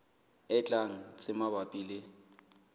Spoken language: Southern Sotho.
e tlang tse mabapi le